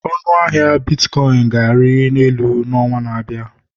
Ọnụ ahịa bitkọịn ga-ari elu n'ọnwa na-abịa